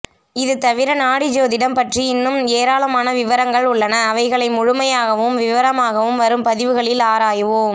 இது தவிர நாடி ஜோதிடம் பற்றி இன்னும் எராளமான விவரங்கள் உள்ளன அவைகளை முழுமையாகவும் விவரமாகவும் வரும் பதிவுகளில் ஆராய்வோம்